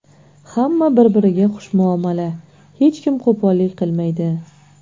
Hamma bir-biriga xushmuomala, hech kim qo‘pollik qilmaydi.